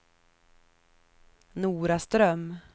Noraström